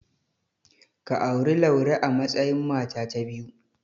Ka auri Laure a matsayin mata ta biyu.